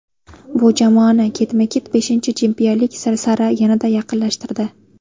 Bu jamoani ketma-ket beshinchi chempionlik sari yanada yaqinlashtirdi.